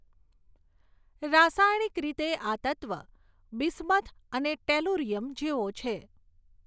રાસાયણિક રીતે આ તત્ત્વ બિસ્મથ અને ટેલુરિયમ જેવો છે.